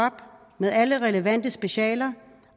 med alle relevante specialer